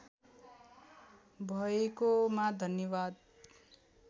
भएकोमा धन्यवाद